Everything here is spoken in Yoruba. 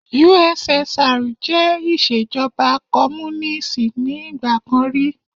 USSR jẹ́ ìṣèjọba Kọ́múnínísì ni ìgbà kan rí.